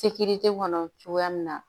kɔnɔ cogoya min na